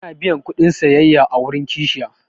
Ana biyan kuɗin sayayya a wurin kashiya.